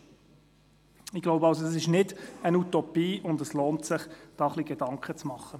Ich denke, dies ist nicht eine Utopie, und es lohnt sich, sich darüber Gedanken zu machen.